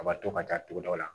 A b'a to ka taa togodaw la